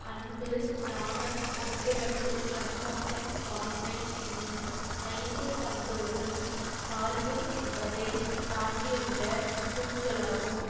அன்பு நாணம் ஒப்புரவு கண்ணோட்டம் வாய்மை என்னும் ஐந்து பண்புகளும் சால்பு என்பதை தாங்கியுள்ள தூண்களாகும்